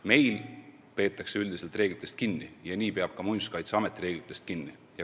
Meil peetakse üldiselt reeglitest kinni ja nii peab ka Muinsuskaitseamet reeglitest kinni.